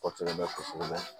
Kɔsɛbɛ kɔsɛbɛ